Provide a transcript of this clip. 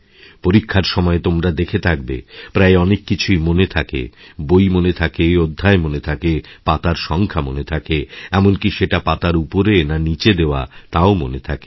পরীক্ষার সময় তোমরা দেখে থাকবে প্রায় অনেক কিছুই মনে থাকে বই মনে থাকে অধ্যায়মনে থাকে পাতার সংখ্যা মনে থাকে এমনকী সেটা পাতার উপরে না নীচে দেওয়া তাও মনেথাকে